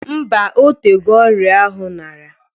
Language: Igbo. Mbaa, otego ọrịa ahụ nara